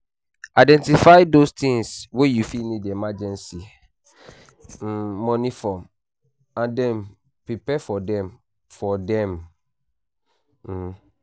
Identify those things wey you fit need emergency um money for and then prepare for them for them um